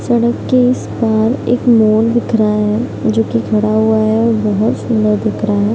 सड़क के इस पार एक मोर दिख रहा है जो की खड़ा हुआ है बहोत सुंदर दिख रहा है।